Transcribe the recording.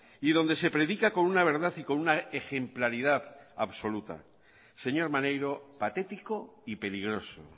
y donde se predica con una verdad y con una ejemplaridad absoluta señor maneiro patético y peligroso